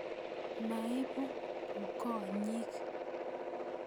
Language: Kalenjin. Maipu ngonyik.